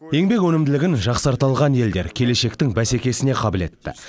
еңбек өнімділігін жақсарта алған елдер келешектің бәсекесіне қабілетті